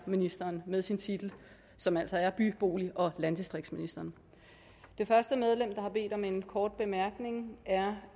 ministeren med sin titel som altså er by bolig og landdistriktsministeren det første medlem der har bedt om en kort bemærkning er